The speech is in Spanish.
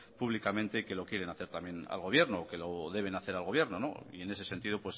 públicamente y que lo quieren hacer también al gobierno o que lo deben hacer al gobierno y en ese sentido